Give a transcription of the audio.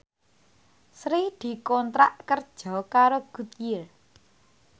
Sri dikontrak kerja karo Goodyear